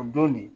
O don de